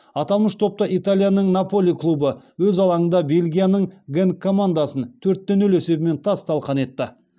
аталмыш топта италияның наполи клубы өз алаңында бельгияның генк командасын төрт те нөл есебімен тас талқан етті